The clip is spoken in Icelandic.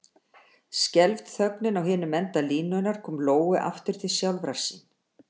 Skelfd þögnin á hinum enda línunnar kom Lóu aftur til sjálfrar sín.